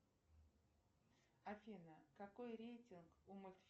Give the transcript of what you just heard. афина какой рейтинг у